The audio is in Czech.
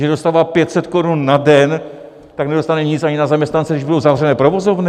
Že dostává 500 korun na den, tak nedostane nic ani na zaměstnance, když budou zavřené provozovny?